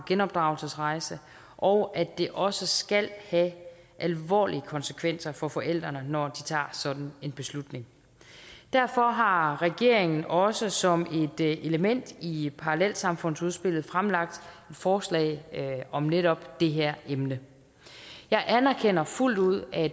genopdragelsesrejse og at det også skal have alvorlige konsekvenser for forældrene når de tager sådan en beslutning derfor har regeringen også som et element i parallelsamfundsudspillet fremlagt forslag om netop det her emne jeg anerkender fuldt ud at